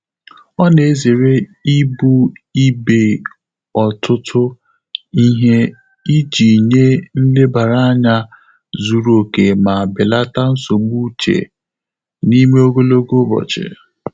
Ọ́ nà-èzéré íbù íbé ọ́tụ́tụ́ íhé ìjí nyé nlèbàrà ányá zùrù óké mà bèlàtà nsógbú úchè n’ímé ògòlògò ụ́bọ̀chị̀.